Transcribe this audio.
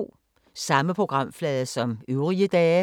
Samme programflade som øvrige dage